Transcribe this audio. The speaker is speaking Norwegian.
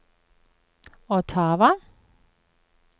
Ottawa